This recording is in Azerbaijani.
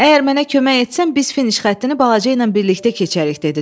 Əgər mənə kömək etsən biz finiş xəttini balaca ilə birlikdə keçərik, dedi Tod.